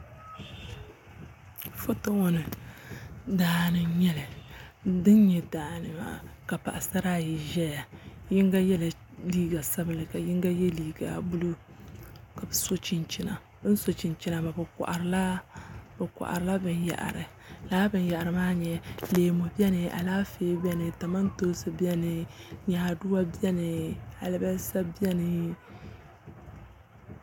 Foto ŋo ni daa n nyɛli ka paɣasara ayi ʒɛya yinga yɛla liiga sabinli ka yinga yɛ liiga buluu ka bi so chinchina bi koharila binyahari laa binyahari maa ni leemu biɛni Alaafee biɛni kamantoosi biɛni nyaaduwa biɛni alibarisa biɛni